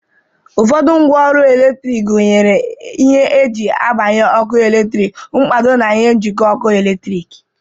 Ụfọdụ ngwa ọrụ eletrik gunyere ihe e ji agbanye ọkụ eletrik, mkpado, na ihe njịkọ ọkụ eletrik